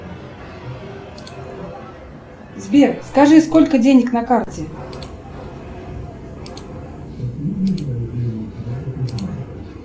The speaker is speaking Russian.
сбер скажи сколько денег на карте